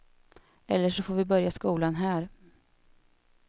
Eller så får vi börja skolan här.